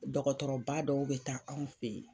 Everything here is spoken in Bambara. Dɔkɔtɔrɔba dɔw be taa anw fe yen